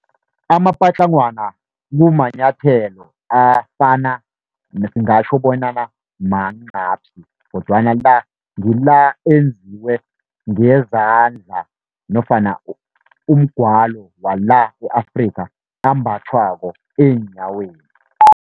Amapatlagwana kumanyathelo afana singatjho bonyana mancaphsi, kodwana la ngila enziwe ngezandla nofana umgwalo wala u-Afrika, ambathwako eenyaweni.